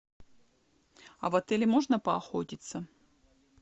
а в отеле можно поохотиться